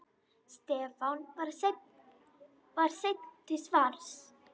Stefán var seinn til svars.